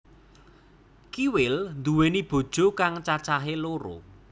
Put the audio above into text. Kiwil nduwéni bojo kang cacahé loro